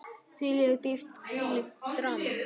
Þvílík dýpt, þvílíkt drama.